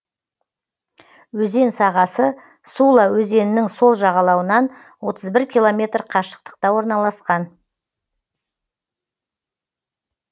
өзен сағасы сула өзенінің сол жағалауынан отыз бір километр қашықтықта орналасқан